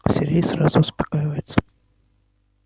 сергей сразу успокаивается